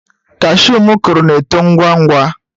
Cashew m kụrụ na-eto ngwa ngwa.